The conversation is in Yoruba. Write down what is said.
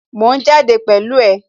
Mò ń jáde pẹ̀lú ẹ